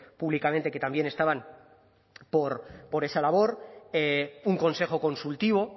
públicamente que también estaban por esa labor un consejo consultivo